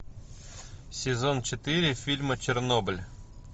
сезон четыре фильма чернобыль